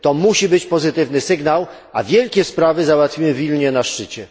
To musi być pozytywny sygnał, a wielkie sprawy załatwimy w Wilnie na szczycie.